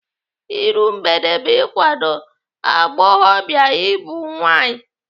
Iru mgbede bụ ikwado agbọghọbịa ịbụ nwaanyị.